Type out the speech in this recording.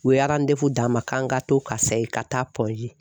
U ye d'a ma k'an ka to ka segin ka taa